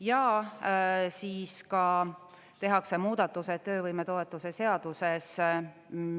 Ja siis ka tehakse muudatused töövõimetoetuse seaduses.